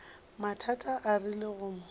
mathata a rile go mo